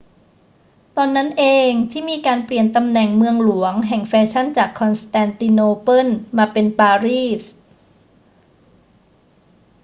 ตอนนั้นเองที่มีการเปลี่ยนตำแหน่งเมืองหลวงแห่งแฟชั่นจากคอนสแตนติโนเปิลมาเป็นปารีส